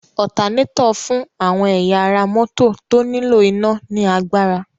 Ọtanétọ̀ fún àwọn ẹ̀yà ara mọ́tọ̀ tó nílò iná ní agbára.